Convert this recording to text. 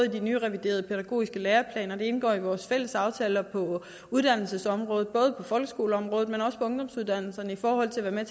de nyreviderede pædagogiske læreplaner det indgår i vores fælles aftaler på uddannelsesområdet både på folkeskoleområdet men også ungdomsuddannelsesområdet med